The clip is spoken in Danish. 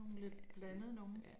Ja, ja